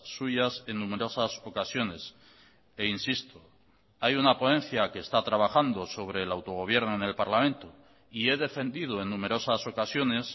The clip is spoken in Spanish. suyas en numerosas ocasiones e insisto hay una ponencia que está trabajando sobre el autogobierno en el parlamento y he defendido en numerosas ocasiones